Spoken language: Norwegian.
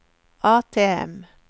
ATM